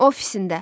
Ofisində.